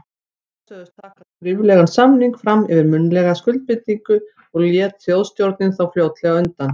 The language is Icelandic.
Bretar sögðust taka skriflegan samning fram yfir munnlega skuldbindingu, og lét Þjóðstjórnin þá fljótlega undan.